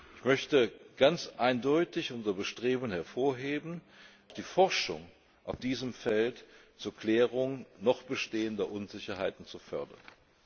Ich möchte ganz eindeutig unser Bestreben hervorheben, auch die Forschung auf diesem Feld zur Klärung noch bestehender Unsicherheiten zu fördern.